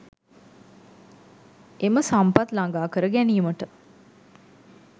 එම සම්පත් ළඟා කර ගැනීමට